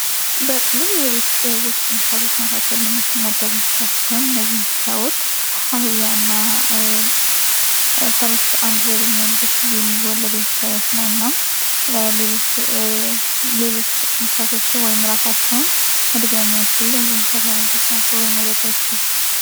በቅሎ የቤት ውስጥ እንስሳቶች መካከል የም መደብ እንስሳስቶሆን ነዚህንሳዎች አህያ እና ፈረስብ አንድ ላይ በሚሆኑበት ጊዜ የሚወለደ ሳይነት ነው እናም ሌሎች እንስሳቶች ወይም እራሳቸውን ምድገ ችሉ ነዚህ ንስሳት ዓይነቶች ናቸው ወይም ሞደዳ ይችላሉ፡፡